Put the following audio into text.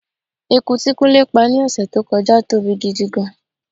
Eku tí kúnlé pá ni ọ̀sẹ̀ tó kọjá tóbi gidi gan-an.